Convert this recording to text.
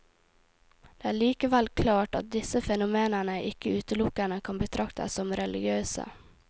Det er likevel klart at disse fenomenene ikke utelukkende kan betraktes som religiøse.